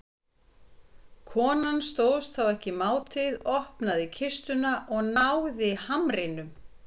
Konan stóðst þá ekki mátið, opnaði kistuna og náði hamnum.